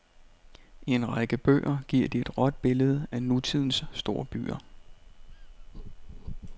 I en række bøger giver de et råt billede af nutidens storbyer.